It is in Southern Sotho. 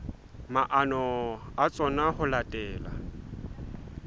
maano a tsona ho latela